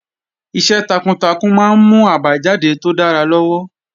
Iṣẹ́ takuntakun máa ń mú àbájáde tó dára lọ́wọ́